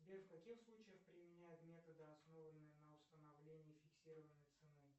сбер в каких случаях применяют методы основанные на установлении фиксированной цены